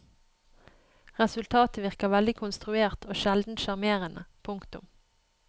Resultatet virker veldig konstruert og sjelden sjarmerende. punktum